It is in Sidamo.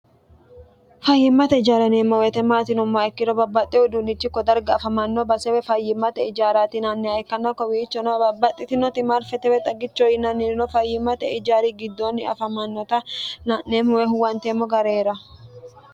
fayyimmate ijaari yineemmo woyiite maati yineemo ikkiro babbaxxe uduunnichi ko darga afamanno base woy fayyimmate ijaarati yinanniha ikkanna kowiichono babbaxxitinoti marfetewe xagicho yinannirino fayyimmate ijaari giddoonni afamannota la'neemmo woy huwanteemmo gari heerawo